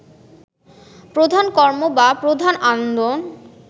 প্রধান কর্ম বা প্রধান আনন্দ